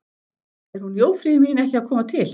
Er hún Jófríður mín ekki að koma til?